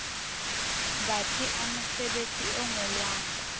batsi a mesebetsi e ngolwang